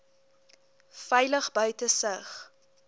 veilig buite sig